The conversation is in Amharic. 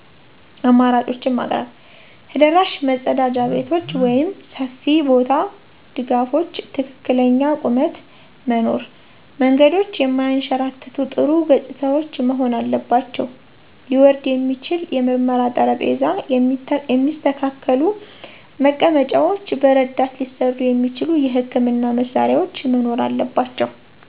አማራጮችን ማቅረብ። ተደራሽ መጸዳጃ ቤቶች (ሰፊ ቦታ፣ ድጋፎች፣ ትክክለኛ ቁመት) መኖር። መንገዶች የማያንሸራትቱ፣ ጥሩ ገጽታዎች መሆን አለባቸው። ሊወርድ የሚችል የምርመራ ጠረጴዛ፣ የሚስተካከሉ መቀመጫዎች፣ በረዳት ሊሠሩ የሚችሉ የሕክምና መሳሪያዎች መኖር አለባቸው።